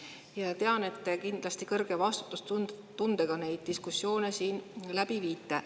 Ma tean, et te kindlasti kõrge vastutustundega neid diskussioone siin läbi viite.